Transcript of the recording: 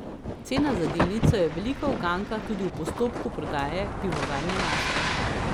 Cena za delnico je velika uganka tudi v postopku prodaje Pivovarne Laško.